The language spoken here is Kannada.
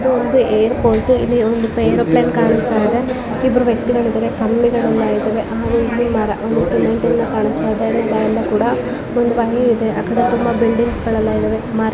ಇದು ಒಂದು ಏರ್ಪೋಟ್ ಇಲ್ಲಿ ಒಂದು ಏರೋಪ್ಲೇನ್ ಕಾಣಿಸ್ತಾ ಇದೆ ಇಬ್ಬರು ವ್ಯಕ್ತಿಗಳಿದ್ದಾರೆ ಕಂಬಿಗಳೆಲ್ಲ ಇದಾವೆ ಆಮೇಲೆ ಒಂದು ಹಾಗೆ ಇಲ್ಲಿ ಒಂದು ಒಂದು ಬಾಯಿಂದ ಕೂಡ ಒಂದು ವಾಹಿ ಕೂಡ ಇದೆ ಆಕಡೆ ತುಂಬ ಬಿಲ್ಡಿಂಗ್ಸ್ ಕೂಡ ಇದೆ ಮರಗಳು ಕೂಡ --